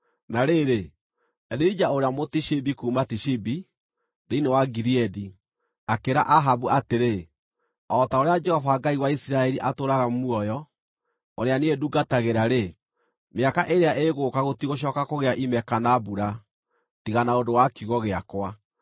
Na rĩrĩ, Elija ũrĩa Mũtishibi kuuma Tishibi, thĩinĩ wa Gileadi, akĩĩra Ahabu atĩrĩ, “O ta ũrĩa Jehova, Ngai wa Isiraeli, atũũraga muoyo, ũrĩa niĩ ndungatagĩra-rĩ, mĩaka ĩrĩa ĩgũũka gũtigũcooka kũgĩa ime kana mbura, tiga na ũndũ wa kiugo gĩakwa.”